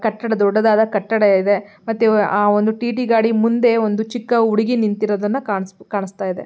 ಕಟ್ಟಡ ದೊಡ್ಡದಾದ ಕಟ್ಟಡ ಇದೆ ಮತ್ತೆ ಆ ಒಂದು ಟಿ_ಟಿ ಗಾಡಿ ಮುಂದೆ ಒಂದು ಚಿಕ್ಕ ಹುಡುಗಿ ನಿಂತಿರೋದನ್ನ ಕಾಣಿಸ್ ಕಾಣಿಸ್ತಾ ಇದೆ.